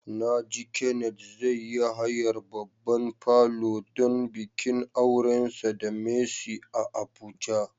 Na ji Kenneth zai yi hayar babban falo don bikin aurensa da Mercy a Abuja.